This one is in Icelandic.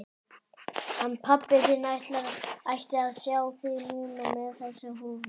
Hann pabbi þinn ætti að sjá þig núna með þessa húfu.